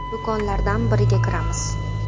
Do‘konlardan biriga kiramiz.